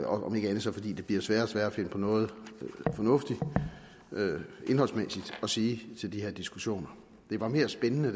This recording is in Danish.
om ikke andet så fordi det bliver sværere og sværere at finde på noget fornuftigt indholdsmæssigt at sige til de her diskussioner det var mere spændende